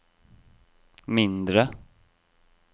mindre